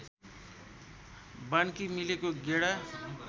बान्की मिलेको गेडा